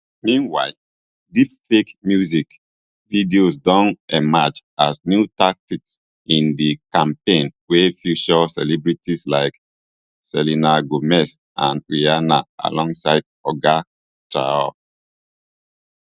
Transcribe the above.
meanwhile deepfake music videos don emerge as new tactic in di campaign wey feature celebrities like selena gomez and rihanna alongside oga traor